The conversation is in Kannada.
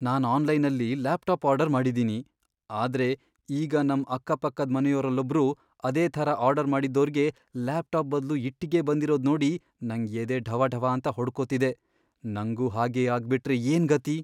ನಾನ್ ಆನ್ಲೈನಲ್ಲಿ ಲ್ಯಾಪ್ಟಾಪ್ ಆರ್ಡರ್ ಮಾಡಿದೀನಿ, ಆದ್ರೆ ಈಗ ನಮ್ ಅಕ್ಕಪಕ್ಕದ್ ಮನೆಯೋರಲ್ಲೊಬ್ರು ಅದೇ ಥರ ಆರ್ಡರ್ ಮಾಡಿದ್ದೋರ್ಗೆ ಲ್ಯಾಪ್ಟಾಪ್ ಬದ್ಲು ಇಟ್ಟಿಗೆ ಬಂದಿರೋದ್ ನೋಡಿ ನಂಗ್ ಎದೆ ಢವಢವಾಂತ ಹೊಡ್ಕೊತಿದೆ, ನಂಗೂ ಹಾಗೇ ಆಗ್ಬಿಟ್ರೆ ಏನ್ ಗತಿ!